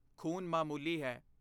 ਖੂਨ ਮਾਮੂਲੀ ਹੈ।